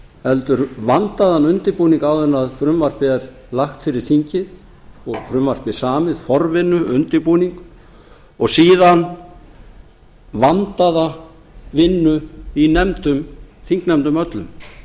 heldur vandaðan undirbúning áður en frumvarpið er lagt fyrir þingið og frumvarpið samið forvinnu undirbúning og síðan vandaða vinnu í nefndum þingnefndum öllum